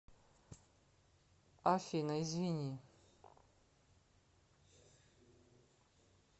афина извини